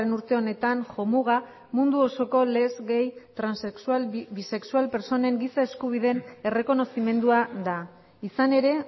urte honetan jomuga mundu osoko les gay transexual bisexual pertsonen giza eskubideen errekonozimendua da izan ere